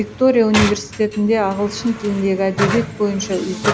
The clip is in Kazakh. виктория университетінде ағылшын тіліндегі әдебиет бойынша үздік